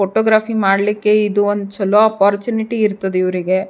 Photography ಮಾಡ್ಲಿಕ್ಕೆ ಇದು ಒಂದ್ ಚಲೋ ಅಪೋರ್ಚುನಿಟಿ ಇರ್ತದೆ ಇವ್ರಿಗೆ.